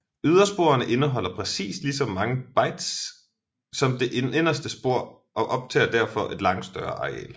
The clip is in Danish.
Ydersporene indeholder præcis lige så mange bytes som det inderste spor og optager derfor et langt større areal